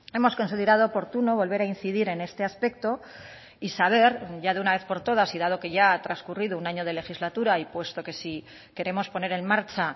hemos considerado oportuno volver a incidir en este aspecto y saber ya de una vez por todas y dado que ya ha transcurrido un año de legislatura y puesto que si queremos poner en marcha